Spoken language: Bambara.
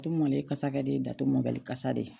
Du kɔni ale kasa ka di ye datugumabali kasa de ye